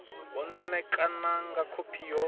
u ṋekana nga khophi yo